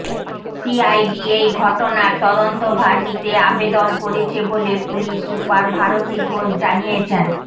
CID এই ঘটনার তদন্তভার নিতে আবেদন করেছে বলে পুলিশ সুপার ভারতী ঘোষ জানিয়েছেন